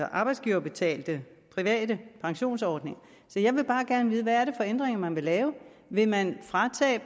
arbejdsgiverbetalte private pensionsordninger så jeg vil bare gerne vide hvad er det for ændringer man vil lave vil man fratage